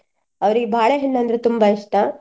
ಅವ್ರಿಗೆ ಬಾಳೆಹಣ್ಣಂದ್ರೆ ತುಂಬಾ ಇಷ್ಟ.